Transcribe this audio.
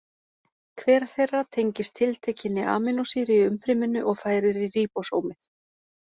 Hver þeirra tengist tiltekinni amínósýru í umfryminu og færir í ríbósómið.